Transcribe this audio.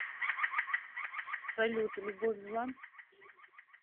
салют любовь зла